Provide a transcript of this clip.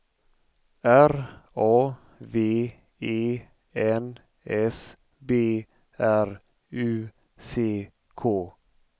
R A V E N S B R U C K